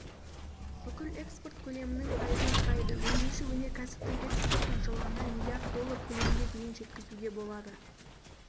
бүкіл экспорт көлемінің пайызын құрайды өңдеуші өнеркәсіптің экспортын жылына миллиард доллар көлемге дейін жеткізуге болады